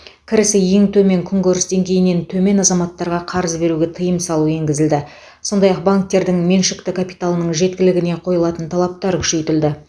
кірісі ең төмен күнкөріс деңгейінен төмен азаматтарға қарыз беруге тыйым салу енгізілді сондай ақ банктердің меншікті капиталының жеткіліктілігіне қойылатын талаптар күшейтілді